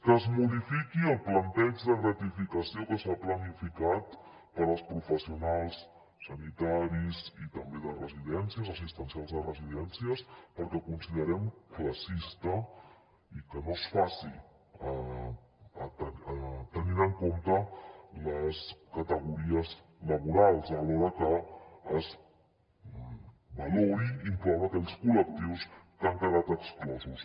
que es modifiqui el planteig de gratificació que s’ha planificat per als professionals sanitaris i també de residències assistencials de residències perquè ho considerem classista i que no es faci tenint en compte les categories laborals alhora que es valori incloure aquells col·lectius que han quedat exclosos